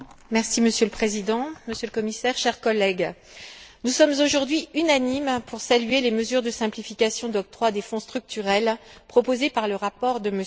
Monsieur le Président, Monsieur le Commissaire, chers collègues, nous sommes aujourd'hui unanimes pour saluer les mesures de simplification d'octroi des Fonds structurels proposés par le rapport de M.